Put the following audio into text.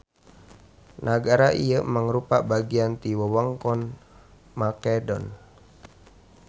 Nagara ieu mangrupa bagian ti wewengkon Makedon.